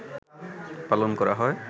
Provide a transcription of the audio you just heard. পালন করা হয়